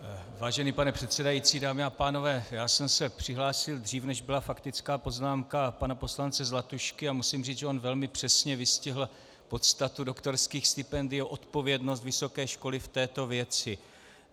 Vážený pane předsedající, dámy a pánové, já jsem se přihlásil dřív, než byla faktická poznámka pana poslance Zlatušky, a musím říct, že on velmi přesně vystihl podstatu doktorských stipendií, odpovědnost vysoké školy v této věci.